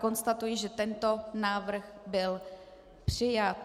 Konstatuji, že tento návrh byl přijat.